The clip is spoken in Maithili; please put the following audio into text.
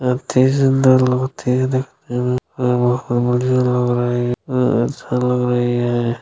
अति सुन्दर लग रही है देखने में ---